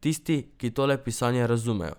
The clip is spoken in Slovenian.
Tisti, ki tole pisanje razumejo.